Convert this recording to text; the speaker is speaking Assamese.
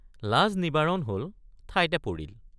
লাজ নিবাৰণ হল ঠাইতে পৰিল।